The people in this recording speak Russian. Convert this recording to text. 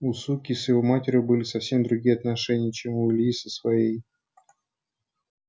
у суки с его матерью были совсем другие отношения чем у ильи со своей